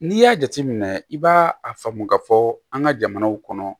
N'i y'a jateminɛ i b'a a faamu ka fɔ an ka jamanaw kɔnɔ